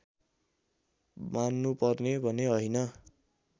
मान्नुपर्ने भने होइन